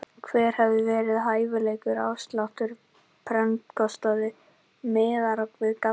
Hver hefði verið hæfilegur afsláttur af prentkostnaði miðað við gallana?